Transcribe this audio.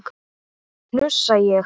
hnussa ég.